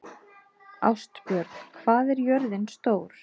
Ástbjörn, hvað er jörðin stór?